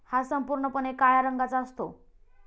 हा संपूर्णपणे काळ्या रंगाचा असतो.